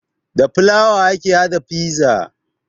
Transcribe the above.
Da fulawa ake haɗa fiza